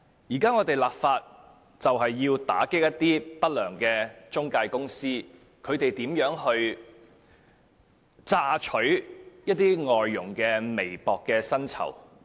現在我們立法是要打擊一些不良中介公司榨取外傭微薄薪酬的行為。